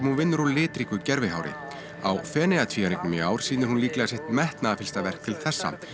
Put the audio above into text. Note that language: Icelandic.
hún vinnur úr litríku gervihári á Feneyjatvíæringnum í ár sýnir hún líklega sitt metnaðarfyllsta verk til þessa